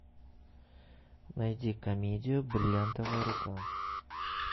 найди комедию бриллиантовая рука